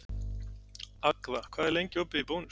Agða, hvað er lengi opið í Bónus?